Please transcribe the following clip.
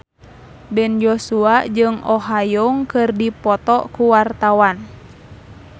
Ben Joshua jeung Oh Ha Young keur dipoto ku wartawan